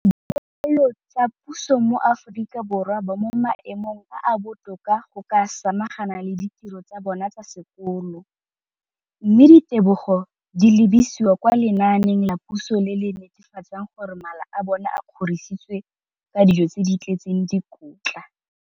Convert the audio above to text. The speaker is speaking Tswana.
dikolo tsa puso mo Aforika Borwa ba mo maemong a a botoka a go ka samagana le ditiro tsa bona tsa sekolo, mme ditebogo di lebisiwa kwa lenaaneng la puso le le netefatsang gore mala a bona a kgorisitswe ka dijo tse di tletseng dikotla.